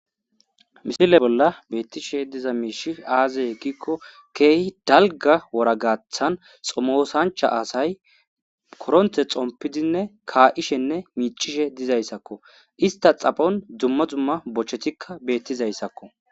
misile bolla beettishe diza miishi aaze eggikko keehi dalga woragaathan xomosancha aasay koronte xompidinne kaa7ishenne miicishe dizayssakko ista xaphon dumma zumma bochetikka bettizayssakko